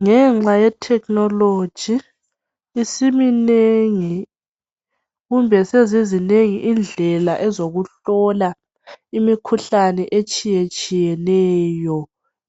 Ngenxa yetechnology, isiminengi kumbe sezizinengi indlela ezokuhlola imikhuhlane etshiyetshiyeneyo